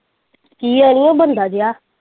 ਕੀ ਅੜੀਏ ਬੰਦਾ ਜੇਹਾ।